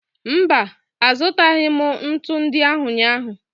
Mba, azụtaghị m ntu ndị ahụ ụnyaahụ.